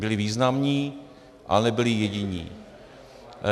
Byli významní, ale nebyli jediní.